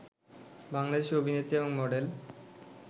বাংলাদেশী অভিনেত্রী এবং মডেল